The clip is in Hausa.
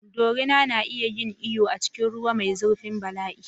Dorina na iya yin iyo a cikin ruwa mai zurfin bala'i.